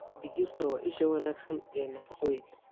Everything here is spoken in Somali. Digirta waa isha wanaagsan ee nafaqooyinka.